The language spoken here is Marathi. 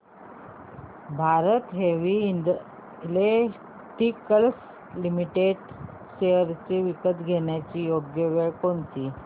Bharat Heavy Electricals Limited shares विकण्याची योग्य वेळ कोणती